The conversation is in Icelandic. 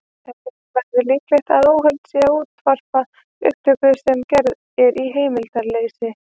Telja verður líklegt að óheimilt sé að útvarpa upptöku sem er gerð í heimildarleysi.